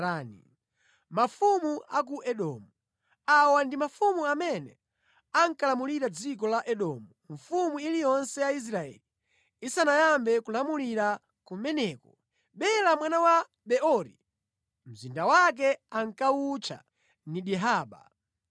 Awa ndi mafumu amene ankalamulira dziko la Edomu, mfumu iliyonse ya Israeli isanayambe kulamulira kumeneko: Bela mwana wa Beori, mzinda wake ankawutcha Dinihaba.